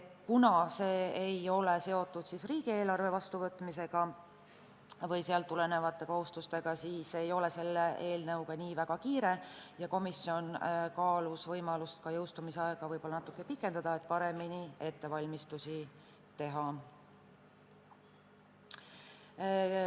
Kuna see eelnõu ei ole seotud riigieelarve vastuvõtmisega või sealt tulenevate kohustustega, siis ei ole selle eelnõuga nii väga kiire, ja komisjon kaalus võimalust jõustumisaega võib-olla pikendada, et saaks paremini ettevalmistusi teha.